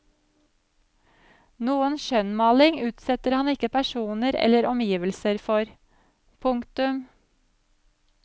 Noen skjønnmaling utsetter han ikke personer eller omgivelser for. punktum